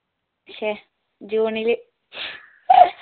ശ്ശെ june ൽ